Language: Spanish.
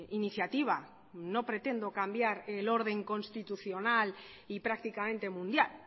iniciativa no pretendo cambiar el orden constitucional y prácticamente mundial